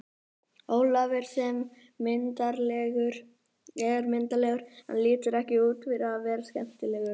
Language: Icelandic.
Ólafur sem er myndarlegur en lítur ekki út fyrir að vera skemmtilegur.